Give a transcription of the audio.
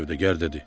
Sövdəgər dedi: